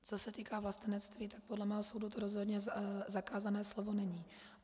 Co se týká vlastenectví, tak podle mého soudu to rozhodně zakázané slovo není.